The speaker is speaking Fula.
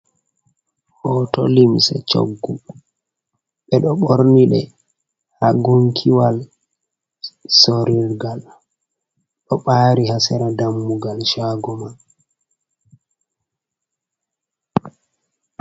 Hoto limse choggu, ɓe ɗo ɓorni ɗe ha gunkiwal sorilgal, ɗo ɓari ha sera dammugal shago man.